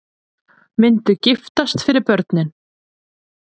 Myndu giftast fyrir börnin